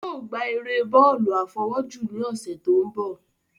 Yóò ò gbá eré bọ́ọ̀lù àfọwọ́jù ní ọ̀sẹ̀ tó ń bọ̀